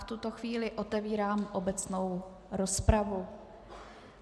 V tuto chvíli otevírám obecnou rozpravu.